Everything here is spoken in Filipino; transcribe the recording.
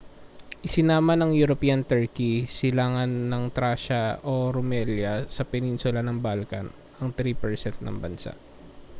isinama ng european turkey silanganan ng tracia o rumelia sa peninsula ng balkan ang 3% ng bansa